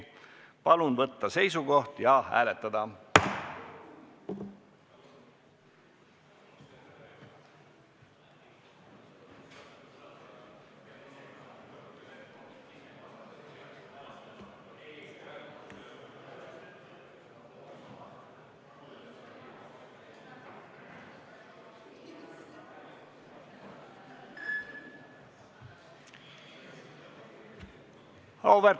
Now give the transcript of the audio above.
Palun võtta seisukoht ja hääletada!